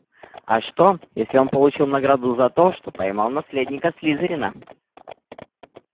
а что если он получил награду за то что поймал наследника слизерина